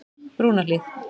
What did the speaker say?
Brúnahlíð